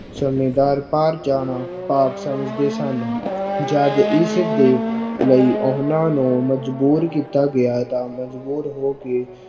ਸਮੁੰਦਰ ਪਾਰ ਜਾਣਾ ਪਾਪ ਸਮਝਦੇ ਸਨ, ਜਦ ਇਸਦੇ ਲਈ ਉਹਨਾਂ ਨੂੰ ਮਜ਼ਬੂਰ ਕੀਤਾ ਗਿਆ ਤਾਂ ਮਜ਼ਬੂਰ ਹੋ ਕੇ